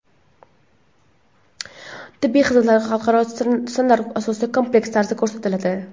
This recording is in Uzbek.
Tibbiy xizmatlar xalqaro standartlar asosida kompleks tarzda ko‘rsatiladi.